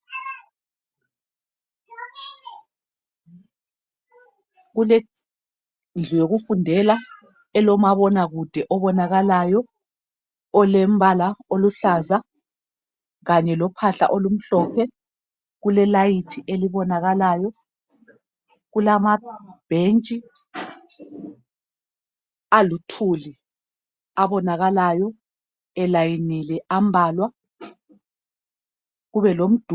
Kulendlu yokufundela elomabonakude obonakalayo olembala oluhlaza kanye lophahla olumhlophe kulelelayithi elibonakalayo, kulamabhetshi aluthuli abonakalayo elayinile ambalwa kube lomduli.